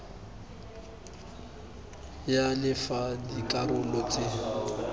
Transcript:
ya le fa dikarolo tse